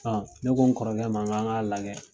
ne ko n kɔrɔkɛ ma n kan k'a lajɛ